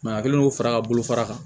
a kɛlen do fara ka bolo fara kan